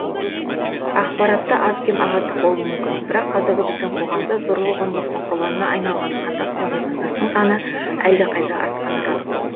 ақпаратта аз кем ағаттық болу мүмкін бірақ қазір біздің қоғамда зорлық зомбылықтың құрбанына айналған қандас пен отандастың саны әлдеқайда артқаны рас